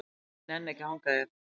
Ég nenni ekki að hanga hér.